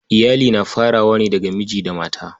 Iyali na farawa ne daga miji da mata.